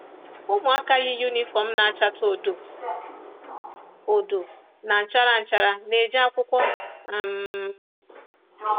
Ụmụaka yi yunifọm na-achatụ odo odo na nchara nchara na-eje akwụkwọ. um